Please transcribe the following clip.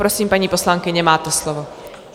Prosím, paní poslankyně, máte slovo.